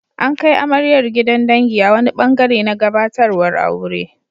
An kai amaryar gidan dangi a wani ɓangare na gabatarwar aure.